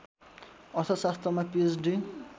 अर्थशास्त्रमा पीएचडी